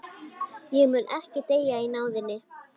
Ég mun ekki deyja í náðinni.